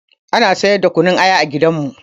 Ana siyar da kunun aya a gidanmu